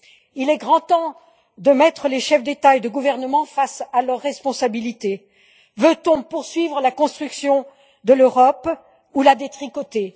Il est grand temps de mettre les chefs d'État ou de gouvernement face à leurs responsabilités veut on poursuivre la construction de l'Europe ou la détricoter?